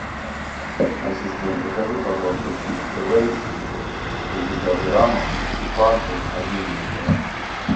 ассистент закажи пожалуйста чипсы лейс шестьдесят граммов и фанту один литр